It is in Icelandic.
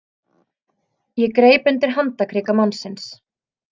Ég greip undir handarkrika mannsins.